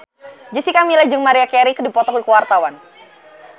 Jessica Milla jeung Maria Carey keur dipoto ku wartawan